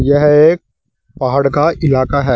यह एक पहाड़ का इलाका है।